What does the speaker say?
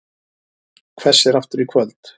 Hvessir aftur í kvöld